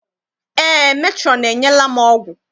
Eé, metrọn enyela m ọgwụ.